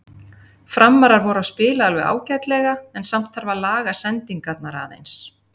Framarar voru að spila alveg ágætlega en samt þarf að laga sendingarnar aðeins.